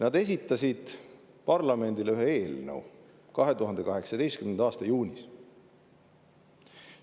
Nad esitasid parlamendile ühe eelnõu 2018. aasta juunis.